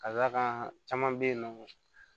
Ka d'a kan caman be yen nɔ